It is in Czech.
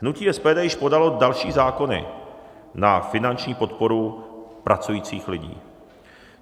Hnutí SPD již podalo další zákony na finanční podporu pracujících lidí.